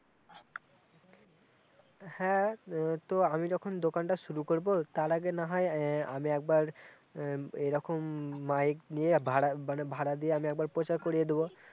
হ্যাঁ তো আমি যখন দোকানটা শুরু করব তার আগে না হয় আহ আমি একবার এরকম উম মাইক নিয়ে ভাড়া মানে ভাড়া দিয়ে একবার প্রচার করিয়ে দেবো